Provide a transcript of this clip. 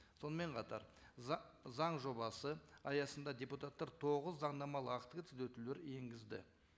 сонымен қатар заң жобасы аясында депутаттар тоғыз заңнамалық актіге түзетулер енгізді